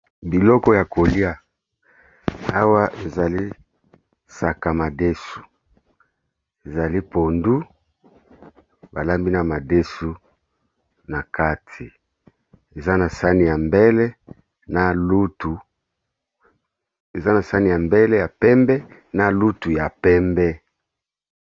Biloko ya kolia awa ezali saka madesu ezali pondu ba lambi na madesu, na kati eza na sani ya mbele ya pembe na lutu ya pembe.